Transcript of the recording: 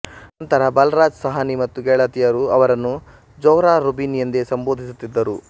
ನಂತರ ಬಲರಾಜ್ ಸಹಾನಿ ಮತ್ತು ಗೆಳತಿಯರು ಅವರನ್ನು ಝೊಹ್ರಾ ಝಬೀನ್ ಎಂದೇ ಸಂಬೋಧಿಸುತ್ತಿದ್ದರು